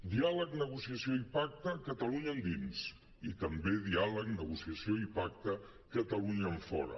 diàleg ne·gociació i pacte catalunya endins i també diàleg negociació i pacte catalunya enfo·ra